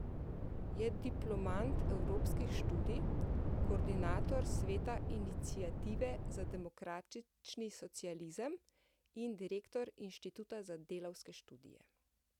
Je diplomant evropskih študij, koordinator sveta Iniciative za demokratični socializem in direktor Inštituta za delavske študije.